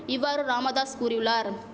இவ்வாறு ராமதாஸ் கூறியுள்ளார்